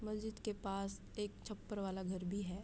मस्जिद के पास एक छप्पर वाला घर भी है।